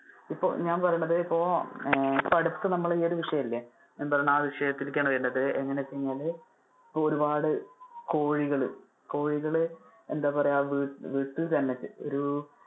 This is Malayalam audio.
ഇപ്പൊ ഞാൻ പറയണത് ഇപ്പൊ ആഹ് ഇപ്പൊ അടുത്ത് നമ്മുടെ ഈ ഒരു വിഷയം ഇല്ലേ. ഞാൻ പറയുന്നത് ആ ഒരു വിഷയത്തിലേക്ക് ആണ് വരുന്നത് എന്താണെന്നു വെച്ച് കഴിഞ്ഞാല്. ഇപ്പൊ ഒരുപാട് കോഴികള്, കോഴികള് എന്താ പറയാ ആ വീട്ടി തന്നെ ഒരു